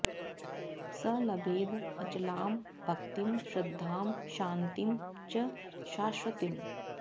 स लभेद् अचलां भक्तिं श्रद्धां शान्तिं च शाश्वतीम्